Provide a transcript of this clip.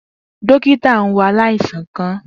Dokita n wo alaisan kan.